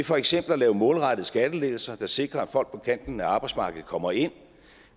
for eksempel at lave målrettede skattelettelser der sikrer at folk på kanten af arbejdsmarkedet kommer ind